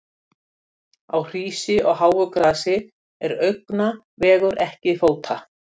Á hrísi og háu grasi er augna vegur en ekki fóta.